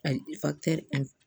Ayi